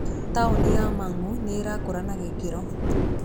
Taũni ya Mang'u nĩ ĩrakũra na gĩkĩro.